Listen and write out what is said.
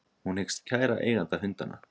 Hún hyggst kæra eiganda hundanna